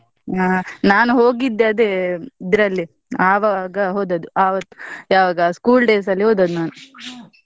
ಹಾ ನಾನ್ ಹೋಗಿದ್ದೆ ಅದೇ, ಇದ್ರಲ್ಲಿ ಆವಾಗ ಹೋದದ್ ಆವತ್ ಯಾವಾಗ school days ಅಲ್ಲಿ ಹೋದದ್ದು ನಾನು .